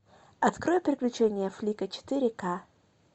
открой приключения флика четыре ка